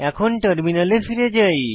এখন টার্মিনালে ফিরে যাই